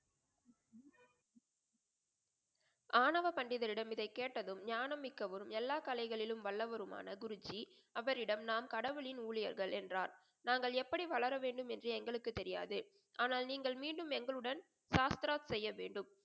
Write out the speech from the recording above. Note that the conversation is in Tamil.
ஆனவ பண்டிதரிடம் இதை கேட்டதும் ஞானமிக்கவரும், எல்லா கலைகளிலும் வல்லவருமான குருஜி அவரிடம் நான் கடவுளின் ஊழியர்கள் என்றார். நாங்கள் எப்படி வளர வேண்டும் என்று எங்களுக்கு தெரியாது ஆனால் நீங்கள் மீண்டும் எங்களுடன் சாஷ்த்ரா செய்ய வேண்டும்.